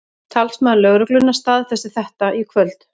Talsmaður lögreglunnar staðfesti þetta í kvöld